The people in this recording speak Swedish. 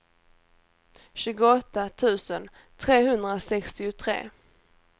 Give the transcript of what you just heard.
tjugoåtta tusen trehundrasextiotre